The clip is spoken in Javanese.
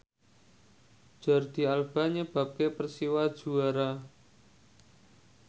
Jordi Alba nyebabke Persiwa juara